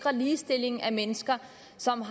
som